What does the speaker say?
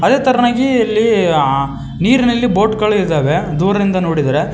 ಅದೇ ತರನಾಗಿ ಇಲ್ಲಿ ಆ ನೀರಿನಲ್ಲಿ ಬೋಟ್ ಗಳಿದ್ದಾವೆ ದೂರದಿಂದ ನೋಡಿದರೆ.